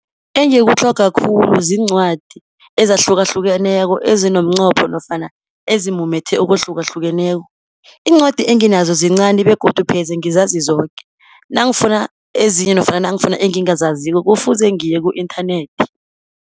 Engikutlhoga khulu ziincwadi ezahlukahlukeneko, ezinomqopho nofana ezimumethe okuhlukahlukeneko. Iincwadi enginazo zincani, begodu pheze ngizazi zoke. Nangifuna ezinye nofana nangifuna engingazaziko kufuze ngiye ku-inthanethi.